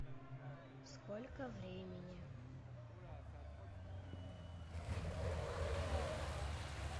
сколько времени